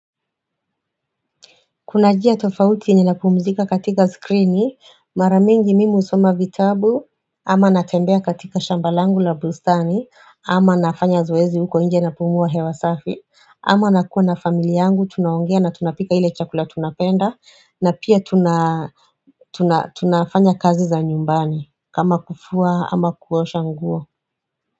Kuna njia tofauti ninapumzika katika skrini, maramingi mimi husoma vitabu, ama natembea katika shamba langu la bustani, ama nafanya zoezi huko inje na pumua hewa safi, ama nakuwa na familia yangu, tunaongea na tunapika ile chakula tunapenda, na pia tuna tunafanya kazi za nyumbani, kama kufua, ama kuosha nguo.